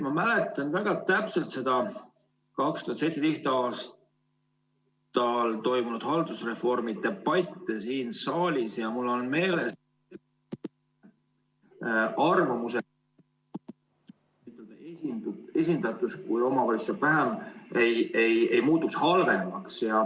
Ma mäletan väga täpselt neid 2017. aastal toimunud haldusreformi debatte siin saalis ja mul on meeles ... arvamused ...... esindatus, kui omavalitsus saab vähem, ei muutuks halvemaks.